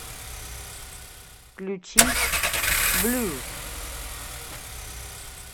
включить блю